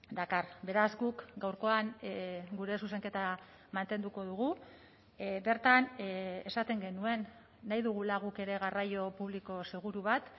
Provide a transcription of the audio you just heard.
dakar beraz guk gaurkoan gure zuzenketa mantenduko dugu bertan esaten genuen nahi dugula guk ere garraio publiko seguru bat